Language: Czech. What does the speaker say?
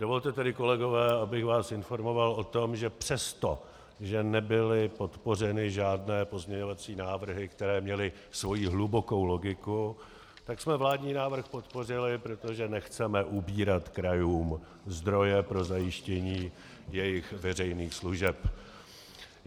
Dovolte tedy, kolegové, abych vás informoval o tom, že přesto, že nebyly podpořeny žádné pozměňovací návrhy, které měly svoji hlubokou logiku, tak jsme vládní návrh podpořili, protože nechceme ubírat krajům zdroje pro zajištění jejich veřejných služeb.